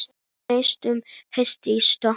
Í fjarska heyrist í spóa.